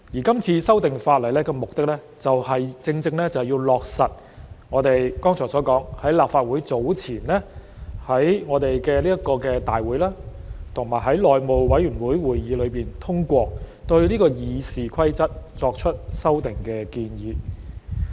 今次修訂法例的目的，正正是要落實我剛才提到，早前在立法會會議及內務委員會會議上通過對《議事規則》作出修訂的建議。